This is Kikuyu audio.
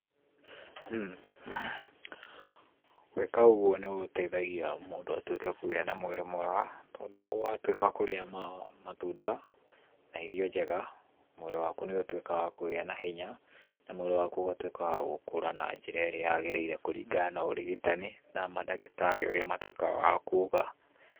Gwĩka ũguo nĩ gũteithagia mũndũ atuĩke kũgĩa na mwĩrĩ mwega tondũ watuĩka kũrĩa matunda, na irio njega, mwĩrĩ waku nĩ ũtuĩkaga wa kũgĩa na hinya na mwĩrĩ waku ũgatuĩka wa gũkũra na njĩra ĩrĩa yagĩrire kũringana na ũrigitani na mandagĩtarĩ ũrĩa matuĩkaga wa kuga.